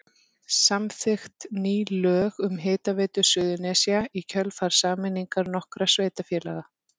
Samþykkt ný lög um Hitaveitu Suðurnesja í kjölfar sameiningar nokkurra sveitarfélaga.